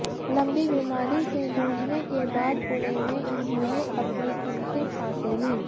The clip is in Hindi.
लंबी बीमारी से जूझने के बाद पुणे में उन्होंने अपनी अंतिम सांसें लीं